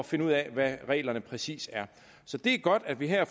finde ud af hvad reglerne præcis er så det er godt at vi her